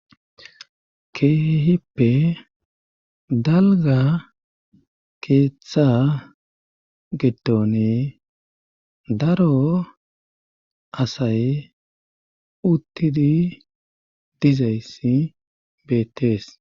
Keehippe dalga keeththa gedone daro asay uttidi dizayssi beettees